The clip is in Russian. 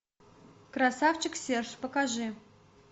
красавчик серж покажи